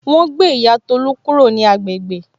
Wọn ó gbé ìyá Tolu kúrò ní agbègbè